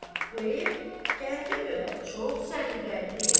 Bu ev kəndə görə çox səliqəli evdir.